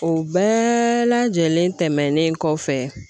O bɛɛ lajɛlen tɛmɛnen kɔfɛ